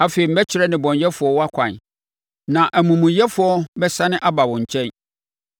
Afei mɛkyerɛ nnebɔneyɛfoɔ wʼakwan, na amumuyɛfoɔ bɛsane aba wo nkyɛn.